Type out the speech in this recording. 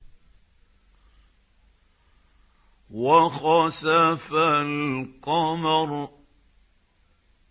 وَخَسَفَ الْقَمَرُ